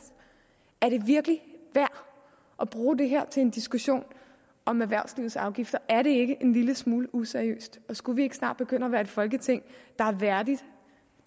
er det virkelig værd at bruge det her til en diskussion om erhvervslivets afgifter er det ikke en lille smule useriøst og skulle vi ikke snart begynde at være et folketing der er værdigt